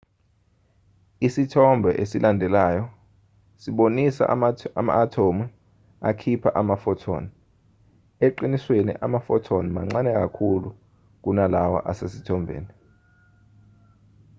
isithombe esilandelayo sibonisa ama-athomu akhipha ama-photon eqinisweni ama-photon mancane kakhulu kunalawa asesithombeni